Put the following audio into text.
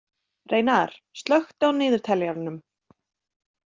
Reynar, slökktu á niðurteljaranum.